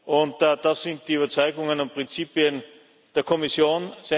Und das sind die Überzeugungen und Prinzipien der Kommission.